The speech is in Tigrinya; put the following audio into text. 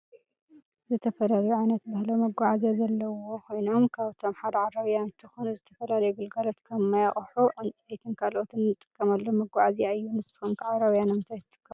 ዝተፈላለዩ ዓይነት ባህላዊ መጋዐዓዝያ ዘለዎ ኮይኖም ካብአቶም ሓደ ዓረብያ እንትኮን ንዝተፍላለዩ ግልጋሎት ከም ማይ፤ አቁሑ፤ ዕንጽይትን ካልኦትን እንጥቀመሎም መጋዝያ እዩ ንስኩም ከ ዓረብያ ንምንትይ ትጥቀሙሉ?